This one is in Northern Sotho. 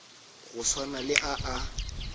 go swana le a a